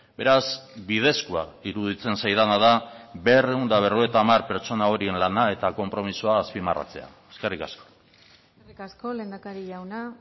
beraz bidezkoa iruditzen zaidana da berrehun eta berrogeita hamar pertsona horien lana eta konpromisoa azpimarratzea eskerrik asko eskerrik asko lehendakari jauna